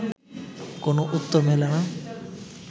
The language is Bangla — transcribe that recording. কোনো উত্তর মেলে না